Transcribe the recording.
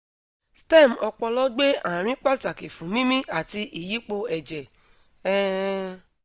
stem opolo gbe arin pataki fun mimi ati iyipo eje um